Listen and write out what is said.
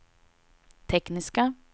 tekniska